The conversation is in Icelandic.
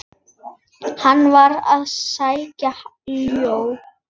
Hann var að sækja ljá.